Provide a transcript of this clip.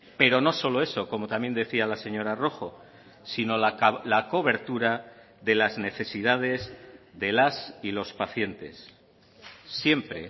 pero no solo eso como también decía la señora rojo sino la cobertura de las necesidades de las y los pacientes siempre